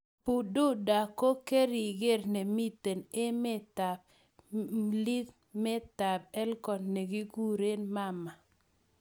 Bududa ko keringer nemitei emetab mlimetab Elgon ne kikure Mama